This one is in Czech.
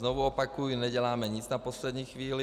Znovu opakuji, neděláme nic na poslední chvíli.